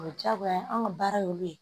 O ye diyagoya ye anw ka baara ye olu ye